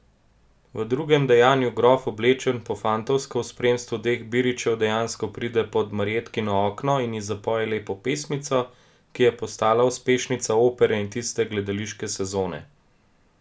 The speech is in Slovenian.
V drugem dejanju grof, oblečen po fantovsko, v spremstvu dveh biričev dejansko pride pod Marjetkino okno in ji zapoje lepo pesmico, ki je postala uspešnica opere in tiste gledališke sezone.